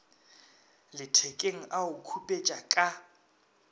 lethekeng a o khupetša ka